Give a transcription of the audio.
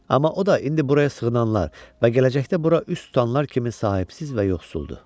Amma o da indi buraya sığınanlar və gələcəkdə bura üz tutanlar kimi sahibsiz və yoxsuldur.